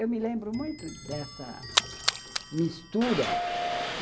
Eu me lembro muito dessa mistura.